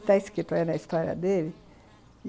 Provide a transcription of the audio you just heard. Está escrito aí na história dele.